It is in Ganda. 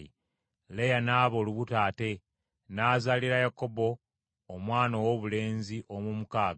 Leeya n’aba olubuto ate, n’azaalira Yakobo Omwana owoobulenzi ow’omukaaga.